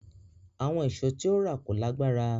Àwọn ìṣó tí ó rà kò lágbára